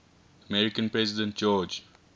american president george